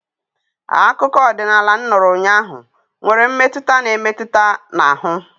Akụkọ ọdịnala m nụrụ ụnyaahụ nwere mmetụta na-emetụ n'ahụ